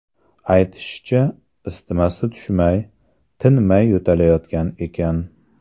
Aytishicha, isitmasi tushmay, tinmay yo‘talayotgan ekan.